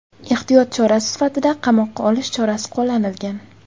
Ehtiyot chorasi sifatida qamoqqa olish chorasi qo‘llanilgan.